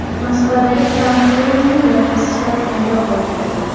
Moskvadagi Trump Tower’ning loyihasi surati paydo bo‘ldi.